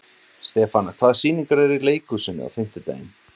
Stefana, hvaða sýningar eru í leikhúsinu á fimmtudaginn?